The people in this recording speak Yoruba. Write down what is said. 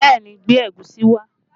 Bẹẹ ni, gbé ẹ̀gúsí wá